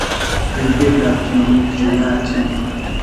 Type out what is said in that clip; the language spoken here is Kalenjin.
riibetap tyong'ik chu yaachen